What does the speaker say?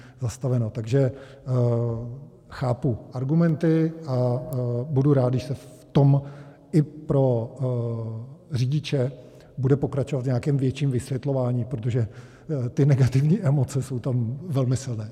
Takže chápu argumenty a budu rád, když se v tom i pro řidiče bude pokračovat v nějakém větším vysvětlování, protože ty negativní emoce jsou tam velmi silné.